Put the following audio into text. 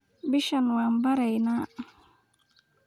Bishaan waan beraayna